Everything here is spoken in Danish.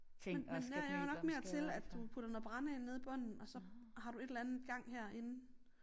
Men men jeg er jo nok mere til at du putter noget brænde ind nede i bunden og så har du et eller andet gang herinde